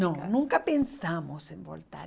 Não, nunca pensamos em voltar.